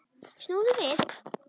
Snúðu við!